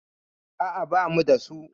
A'a, ba mu da su.